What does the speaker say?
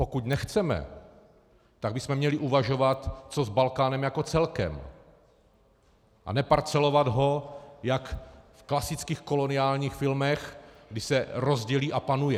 Pokud nechceme, tak bychom měli uvažovat, co s Balkánem jako celkem, a neparcelovat ho jak v klasických koloniálních filmech, kdy se rozdělí a panuje.